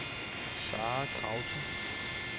Zahra Krause